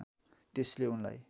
त्यसैले उनलाई